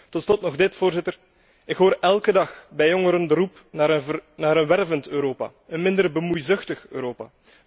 Tot slot nog dit, Voorzitter ik hoor elke dag bij jongeren de roep naar een wervend Europa, een minder bemoeizuchtig Europa.